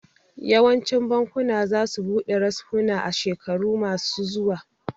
Yawancin bakuna za su buɗe reshuna a shekaru ma su zuwa